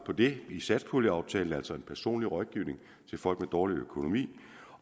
på det i satspuljeaftalen altså en personlig rådgivning til folk med dårlig økonomi